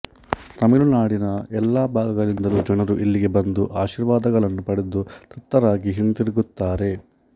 ತಮಿಳುನಾಡಿನ ಎಲ್ಲಾ ಭಾಗಗಳಿಂದಲೂ ಜನರು ಇಲ್ಲಿಗೆ ಬಂದು ಆಶೀರ್ವಾದಗಳನ್ನು ಪಡೆದು ತೃಪ್ತರಾಗಿ ಹಿಂತಿರುಗುತ್ತಾರೆ